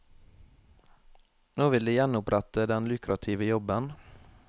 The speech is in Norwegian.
Nå vil de gjenopprette den lukrative jobben.